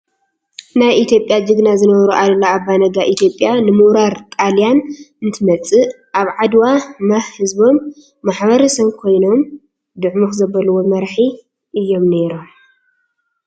ናይ ኢትዮጰያ ጅግና ዝነበሩ ኣሉላ ኣባነጋ ኢትዮጰያ ንምውራር ጣልያን እንትመፅእ ኣብ ዓድዋ ማህ ሕዝቦም ማሕበረሰቦም ኮይኖም ድዕሙኽ ዘበልዎ መራሒ እዮም ነይሮም።